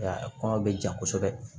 A kɔnɔ bɛ ja kosɛbɛ